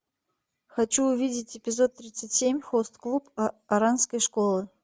хочу увидеть эпизод тридцать семь хост клуб оранской школы